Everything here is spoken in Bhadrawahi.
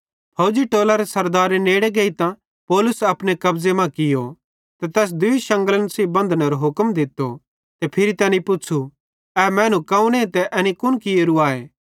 फौजी टोलरे सरदारे नेड़े गेइतां पौलुस अपने कब्ज़े मां कियो ते तैस दूई शांगलेइं सेइं बंधनेरो हुक्म दित्तो ते फिरी तैनी पुच़्छ़ू ए मैनू कौने ते एनी कुन कियेरू आए